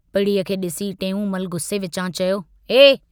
पिड़ीअ खे डिसी टेऊंमल गुस्से विचां चयो, ऐ!